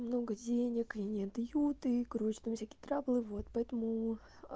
много денег и не отдают и грусть там всякие траблы вот поэтому а